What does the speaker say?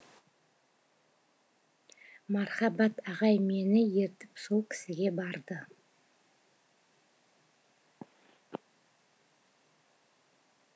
мархабат ағай мені ертіп сол кісіге барды